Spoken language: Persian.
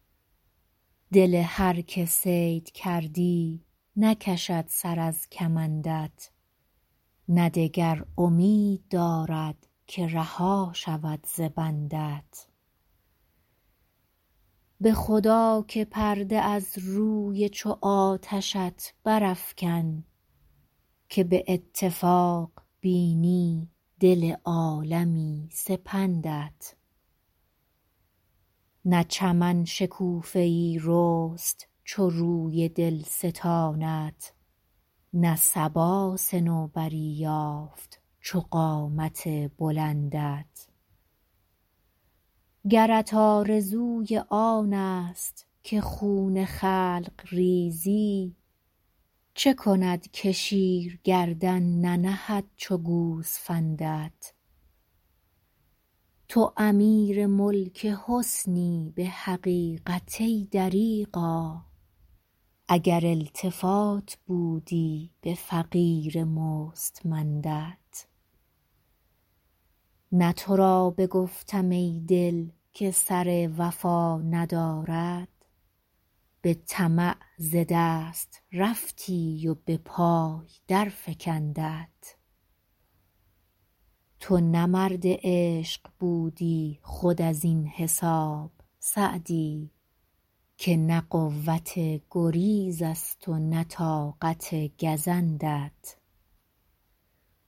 دل هر که صید کردی نکشد سر از کمندت نه دگر امید دارد که رها شود ز بندت به خدا که پرده از روی چو آتشت برافکن که به اتفاق بینی دل عالمی سپندت نه چمن شکوفه ای رست چو روی دلستانت نه صبا صنوبری یافت چو قامت بلندت گرت آرزوی آنست که خون خلق ریزی چه کند که شیر گردن ننهد چو گوسفندت تو امیر ملک حسنی به حقیقت ای دریغا اگر التفات بودی به فقیر مستمندت نه تو را بگفتم ای دل که سر وفا ندارد به طمع ز دست رفتی و به پای درفکندت تو نه مرد عشق بودی خود از این حساب سعدی که نه قوت گریزست و نه طاقت گزندت